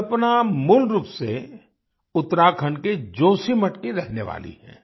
कल्पना मूल रूप से उत्तराखंड के जोशीमठ की रहने वाली हैं